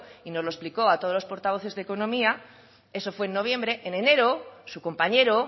y nos lo explicó a todos los portavoces de economía eso fue en noviembre en enero su compañero